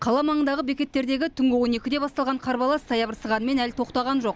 қала маңындағы бекеттердегі түнгі он екіде басталған қарбалас саябырсығанымен әлі тоқтаған жоқ